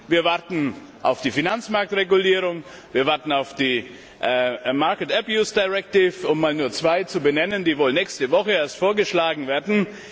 Wir warten auf die Finanzmarktregulierung, wir warten auf die market abuse directive um nur zwei zu benennen, die wohl nächste Woche erst vorgeschlagen werden.